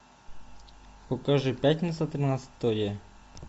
покажи пятница тринадцатое